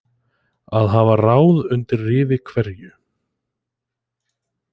Að hafa ráð undir rifi hverju